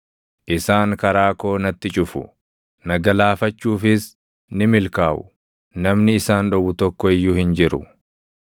Isaan karaa koo natti cufu; na galaafachuufis ni milkaaʼu; namni isaan dhowwu tokko iyyuu hin jiru.